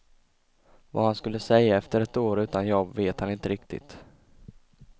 Vad han skulle säga efter ett år utan jobb vet han inte riktigt.